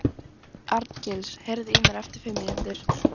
Arngils, heyrðu í mér eftir fimm mínútur.